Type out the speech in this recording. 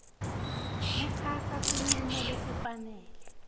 kutsatsa sincumo lesifanele